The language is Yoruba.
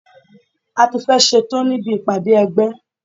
A tí fẹ́ ẹ̀ ṣetán níbi ìpàdé ẹgbẹ́.